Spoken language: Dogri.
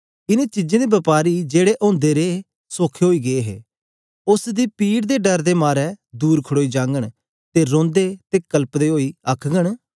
इन चीजें दे बपारी जेड़े ओदे रहें सोखे ओई गे हे उस्स दी पीड़ दे डर दे मारे दूर खड़ोई जाघंन ते रोंदे ते कलपदे ओई आखघन